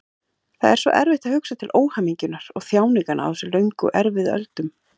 Það er svo erfitt að hugsa til óhamingjunnar og þjáninganna á þessum löngu erfiðu öldum.